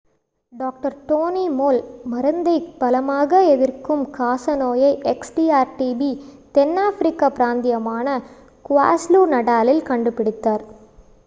doctor Tony Moll மருந்தை பலமாக எதிர்க்கும் காச நோயை xdr-tb தென்னாப்பிரிக்க பிராந்தியமான க்வாஸுலு-நடாலில் கண்டுபிடித்தார்